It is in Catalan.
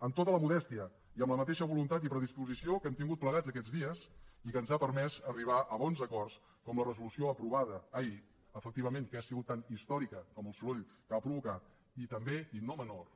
amb tota la modèstia i amb la mateixa voluntat i predisposició que hem tingut plegats aquests dies i que ens ha permès arribar a bons acords com la resolució aprovada ahir efectivament que ha sigut tan històrica com el soroll que ha provocat i també i no menor